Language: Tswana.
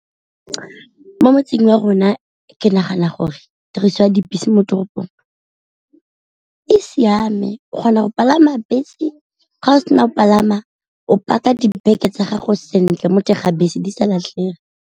Mo motseng wa rona ke nagana gore tiriso ya dibese mo toropong e siame, o kgona go palama bese ga o sena o palama, o paka dibeke tsa gago sentle mo teng ga bese di sa latlhege.